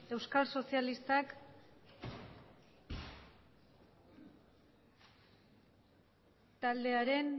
euskal sozialistak taldearen